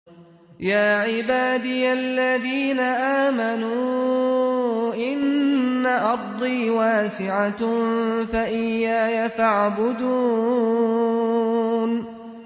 يَا عِبَادِيَ الَّذِينَ آمَنُوا إِنَّ أَرْضِي وَاسِعَةٌ فَإِيَّايَ فَاعْبُدُونِ